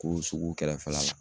Ko sugu kɛrɛfɛla la.